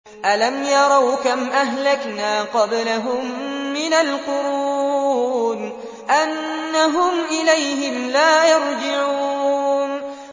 أَلَمْ يَرَوْا كَمْ أَهْلَكْنَا قَبْلَهُم مِّنَ الْقُرُونِ أَنَّهُمْ إِلَيْهِمْ لَا يَرْجِعُونَ